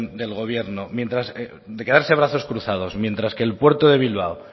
del gobierno de quedarse de brazos cruzados mientras que el puerto de bilbao